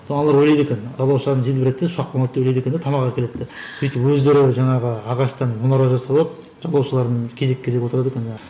аналар ойлайды екен жалаушаны желбіретсе ұшақ қонады деп ойлайды екен де тамақ әкеледі деп сөйтіп өздері жаңағы ағаштан мұнара жасап алып жалаушаларын кезек кезек отырады екен